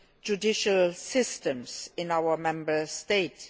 judicial systems in our Member States.